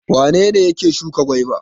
Wane ne yake shuka gwaiba?